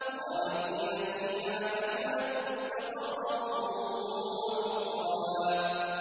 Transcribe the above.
خَالِدِينَ فِيهَا ۚ حَسُنَتْ مُسْتَقَرًّا وَمُقَامًا